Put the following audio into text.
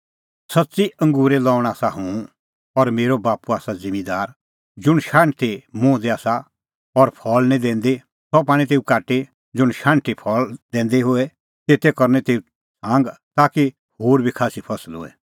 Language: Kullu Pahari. ज़ुंण शाण्हटी मुंह दी आसा और फल़ नांईं दैंदी सह पाणीं तेऊ काटी ज़ुंण शाण्हटी फल़ा दैंदी होए तेते करनी तेऊ छांग ताकि होर बी खास्सी फसल होए